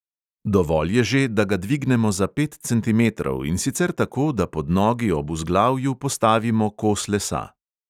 Dovolj je že, da ga dvignemo za pet centimetrov, in sicer tako, da pod nogi ob vzglavju postavimo kos lesa.